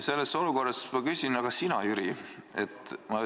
Selles olukorras ma küsin: aga sina, Jüri?